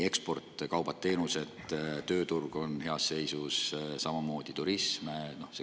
Eksportkaubad, teenused ja tööturg on heas seisus, samamoodi turism.